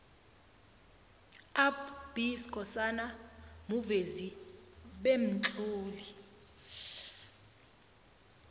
up b skhosana muvezi bemtloli